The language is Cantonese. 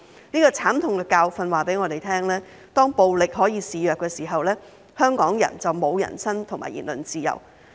這個慘痛的教訓告訴我們，當暴力可以肆虐的時候，香港人就沒有人身及言論自由。